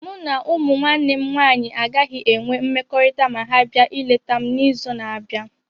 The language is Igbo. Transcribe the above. Mụ na ụmụ nwanne m nwanyị agaghị enwe mmekọrịta ma ha bia ịleta m n'izu na-abịa.